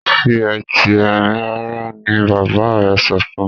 fi Ẹti Ẹrin rara! ní bàbá rẹ sọfún.